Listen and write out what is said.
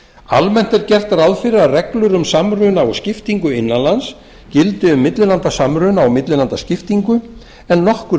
almennt er gert ráð fyrir að reglur um samruna og skiptingu innan lands gildi um millilandasamruna og millilandaskiptingu en nokkur